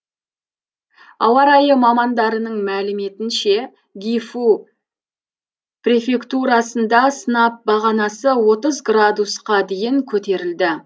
ауа райы мамандарының мәліметінше гифу префектурасында сынап бағанасы отыз градусқа дейін көтерілді